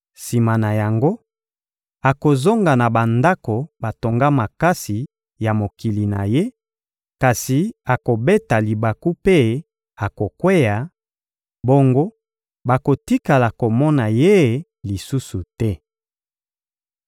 Sima na yango, akozonga na bandako batonga makasi ya mokili na ye, kasi akobeta libaku mpe akokweya; bongo bakotikala komona ye lisusu te.